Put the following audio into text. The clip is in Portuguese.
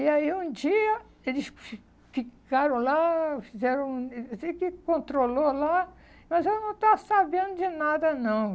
E aí, um dia, eles fi ficaram lá, fizeram um... Eu eu sei que controlou lá, mas eu não estava sabendo de nada, não.